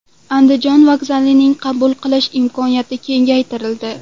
Andijon vokzalining qabul qilish imkoniyati kengaytirildi.